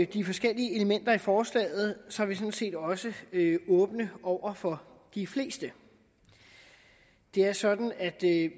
de forskellige elementer i forslaget er sådan set også åbne over for de fleste det er sådan at